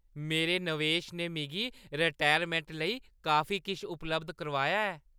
मेरे नवेश ने मिगी रटैरमैंट लेई काफी किश उपलब्ध कराया ऐ।